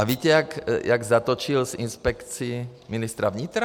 A víte, jak zatočil s Inspekcí ministra vnitra?